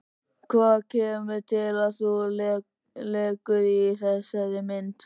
Hvað kemur til að þú leikur í þessari mynd?